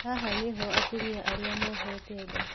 Haha nĩho atumia arĩa mohete nda